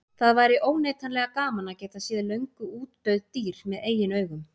Það væri óneitanlega gaman að geta séð löngu útdauð dýr með eigin augum.